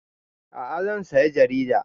A'a zan saya jaridar